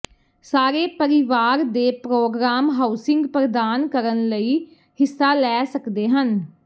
ਸਾਰੇ ਪਰਿਵਾਰ ਦੇ ਪ੍ਰੋਗਰਾਮ ਹਾਊਸਿੰਗ ਪ੍ਰਦਾਨ ਕਰਨ ਲਈ ਹਿੱਸਾ ਲੈ ਸਕਦੇ ਹਨ